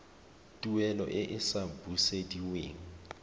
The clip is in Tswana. tuelo e e sa busediweng